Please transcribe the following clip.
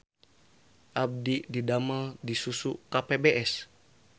Abdi didamel di Susu KPBS